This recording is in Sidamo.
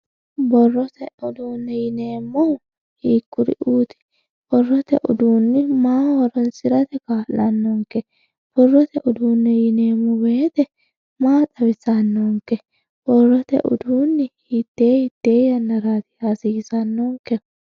borrotote uduunneeti yineemmohu hiikkuri'uti? borrote uduunni maaho horonsi'rate kaa'annonke? borrote uduunne yineemmo woyte maa xawissannonke? borrote uduunni hiittee hiittee yaannara hasiissannonke?